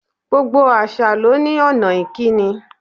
Gbogbo àṣà ló ní ònà ìkíni